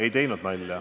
Ei teinud nalja.